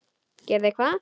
Gerði hvað?